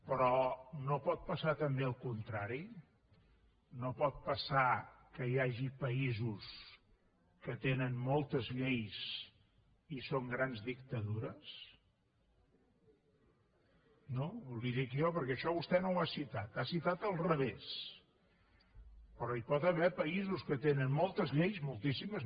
però no pot passar també el contrari no pot passar que hi hagi països que tenen moltes lleis i són grans dictadures no li ho dic jo perquè això vostè no ho ha citat ho ha citat al revés però hi pot haver països que tenen moltes lleis moltíssimes